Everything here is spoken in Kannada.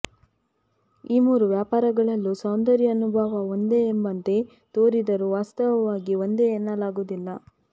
ಈ ಮೂರು ವ್ಯಾಪಾರಗಳಲ್ಲೂ ಸೌಂದರ್ಯಾನುಭವ ಒಂದೇ ಎಂಬಂತೆ ತೋರಿದರೂ ವಾಸ್ತವವಾಗಿ ಒಂದೇ ಎನ್ನಲಾಗುವುದಿಲ್ಲ